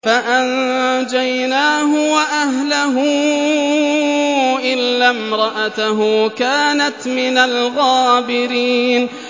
فَأَنجَيْنَاهُ وَأَهْلَهُ إِلَّا امْرَأَتَهُ كَانَتْ مِنَ الْغَابِرِينَ